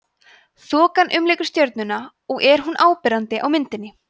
þokan umlykur stjörnuna og er hún áberandi á myndinni